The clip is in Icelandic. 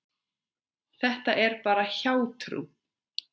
Þetta er bara hjátrú.